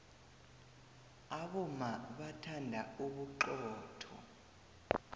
abomma bathanda ubuxotho